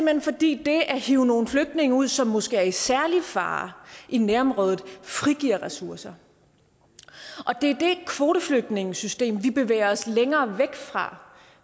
hen fordi det at hive nogle flygtninge ud som måske er i særlig fare i nærområdet frigiver ressourcer det er det kvoteflygtningesystem vi bevæger os længere væk fra